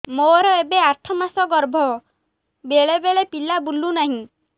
ମୋର ଏବେ ଆଠ ମାସ ଗର୍ଭ ବେଳେ ବେଳେ ପିଲା ବୁଲୁ ନାହିଁ